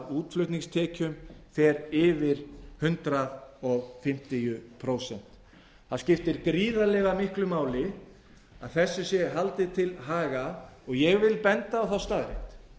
útflutningstekjum fer yfir hundrað fimmtíu prósent það skiptir gríðarlega miklu máli að þessu sé haldið til haga og ég vil benda á þá staðreynd að